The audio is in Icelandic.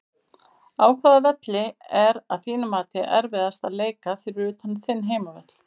Á hvaða velli er að þínu mati erfiðast að leika fyrir utan þinn heimavöll?